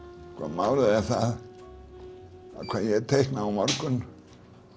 málið er það hvað ég teikna á morgun